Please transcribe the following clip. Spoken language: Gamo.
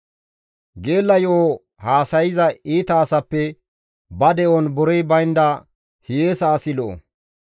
Geella yo7o haasayza iita asappe ba de7on borey baynda hiyeesa asi lo7o.